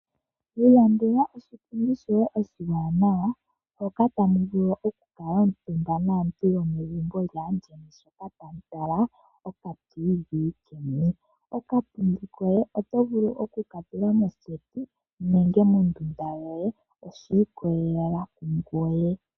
Ilandela oshipundi shoye oshiwanawa hoka tamu vulu okukuutumba naantu yomegumbo lyaandjeni sho tala okatiivii yeni. Okapundi koye oto vulu oku ka tula moseti nenge mondunda yoye, oshi ikolelela kungoye.